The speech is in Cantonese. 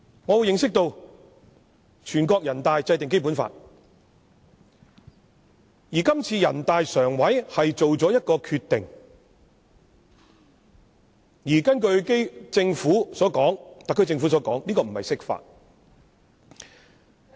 我認識到全國人大制定《基本法》，而這次人大常委會作出決定，根據特區政府所說，這不是釋法。